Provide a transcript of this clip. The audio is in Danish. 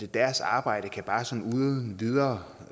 deres arbejde kan bare sådan uden videre